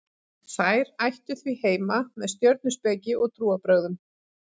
þær ættu því heima með stjörnuspeki og trúarbrögðum